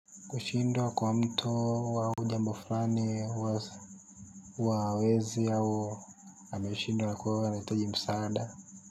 Kushindwa kwa mtu wa au jambo fulani huwa hawezi au ameshindwa ko anahitaji msaada.